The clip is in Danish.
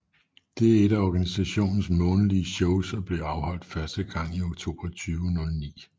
Det er ét af organisationens månedlige shows og blev afholdt første gang i oktober 2009